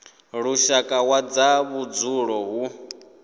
lushaka wa zwa vhudzulo hu